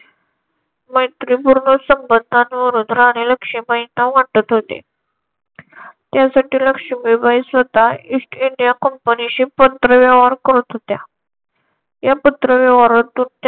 मैत्रीपूर्ण संबंधांवरून राणी लक्ष्मीबाईंना वाटत होते. त्यासाठी लक्ष्मीबाई स्वतः ईस्ट इंडिया कंपनीशी पत्रव्यवहार करत होत्या. या पत्रव्यवहारातून